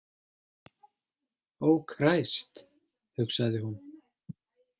Ó kræst, hugsaði hún.